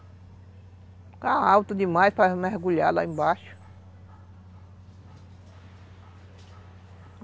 Ficava alto demais para mergulhar lá embaixo.